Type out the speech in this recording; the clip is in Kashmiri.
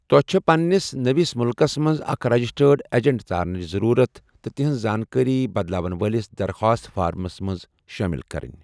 توہہِ چھے٘ پننِس نوِس مُلكس منز اكھ رجِسٹرڈ ایجنٹ ژارنِچ ضرورت تہٕ تہنز زانكٲری بدلاون وٲلِس درخواست فارمس منز شٲمِل كرٕنۍ ۔